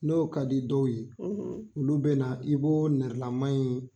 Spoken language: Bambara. N'o ka di dɔw ye olu bɛ na i b'o nɛrɛlama in